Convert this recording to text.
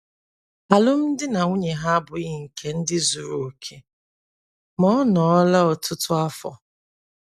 Alụmdi na nwunye ha abụghị nke ndị zuru okè, ma ọ nọọla ọtụtụ afọ.